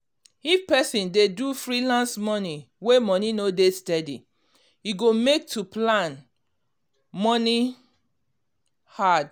if person dey do freelance moni wey money no dey steady e go make to plan moni hard.